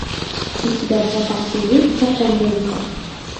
у тебя в запасе есть закон рынка